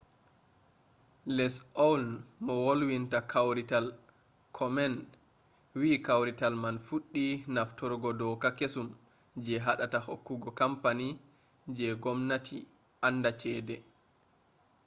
lesli awn mo wolwinta kawrital komen wi kawrital man fuɗɗi nafturgo doka kesum je haɗata hokkugo kampani je w-gomnati anda cede